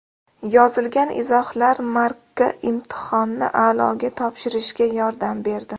Yozilgan izohlar Markka imtihonni a’loga topshirishga yordam berdi.